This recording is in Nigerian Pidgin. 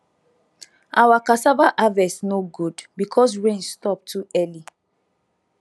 our cassava harvest no good because rain stop too early